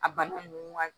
A bana nunnu ka